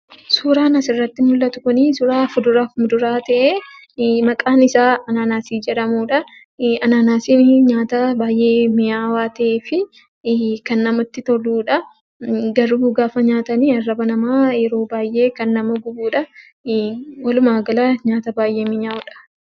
Suuraan asirratti mul'atu kunii suuraa fuduraaf muduraa ta'ee maqaan isaa anaanaasii jedhamuudhaa. Anaanaasiin nyaata baay'ee mi'aawaa ta'ee fi kan namatti toluudha. Garuu gaafa nyaatanii arraba namaa yeroo baay'ee kan nama gubuudha. Walumaa gala nyaata baay'ee minyaa'udha.